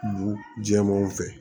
Bu jɛmanw fɛ